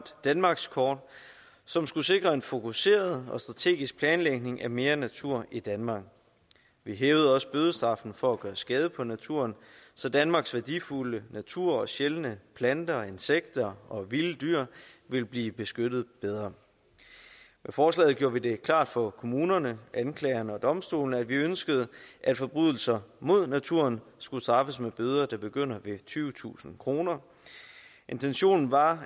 danmarkskort som skulle sikre en fokuseret og strategisk planlægning af mere natur i danmark vi hævede også bødestraffen for at gøre skade på naturen så danmarks værdifulde natur sjældne planter og insekter og vilde dyr ville blive beskyttet bedre i forslaget gjort vi det klart for kommunerne anklagerne og domstolene at vi ønskede at forbrydelser mod naturen skulle straffes med bøder der begyndte ved tyvetusind kroner intentionen var